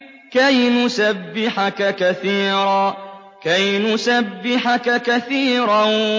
كَيْ نُسَبِّحَكَ كَثِيرًا